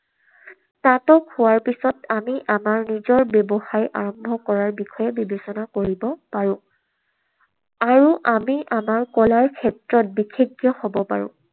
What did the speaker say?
স্নাতক হোৱাৰ পিছত আমি আমাৰ নিজৰ ব্যৱসায় আৰম্ভ কৰাৰ বিষয়ে বিবেচনা কৰিব পাৰো। আৰু আমি আমাৰ কলাৰ ক্ষেত্ৰত বিষেজ্ঞ হব পাৰে।